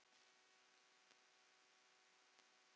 Hjördís: Og er það nóg?